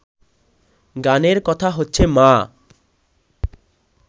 গানের কথা হচ্ছে মা